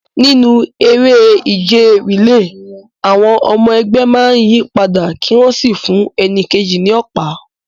Nínú eré ìje relay, àwọn ọmọ ẹgbẹ́ máa ń yí padà kí wọ́n sì fún ẹni kejì ní ọ̀pá.